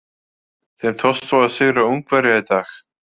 Þeim tókst svo að sigra Ungverja í dag.